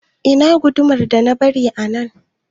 Ina gudumar da na bari a nan?